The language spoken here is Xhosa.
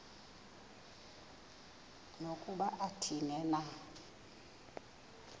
nokuba athini na